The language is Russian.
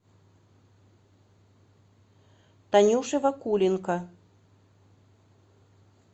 танюше вакуленко